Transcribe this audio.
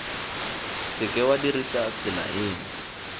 seke wa dirisa tsela eno